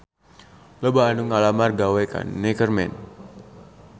Loba anu ngalamar gawe ka Neckerman